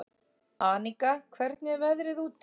Aníka, hvernig er veðrið úti?